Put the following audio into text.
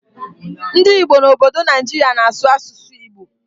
Ndị Igbo n'obodo Naijiria na-azụ asụsụ Igbo